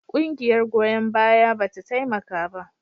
Ƙungiyar goyon bayan ba ta taimaka ba.